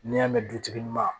N'i y'a mɛn dutigi ma